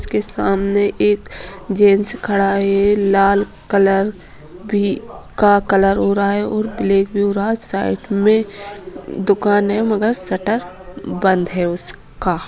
उसके सामने एक जेंट्स खड़ा है लाल कलर भी का कलर हो रहा है और ब्लैक भी हो रहा है साइड में दुकान है मगर शटर बंद है उसका।